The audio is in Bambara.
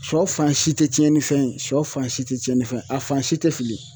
Sɔ fan si te tiɲɛnifɛn ye sɔ fan si te tiɲɛnifɛn ye a fan si te fili.